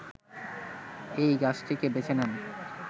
এই গাছটিকে বেছে নেন